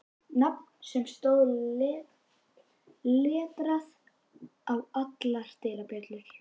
Nafn sem stóð letrað á allar dyrabjöllur.